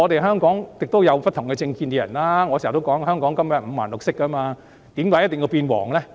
香港有不同政見的人，我經常說香港根本是五顔六色，為甚麼一定要變黃呢？